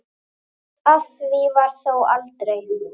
Af því varð þó aldrei.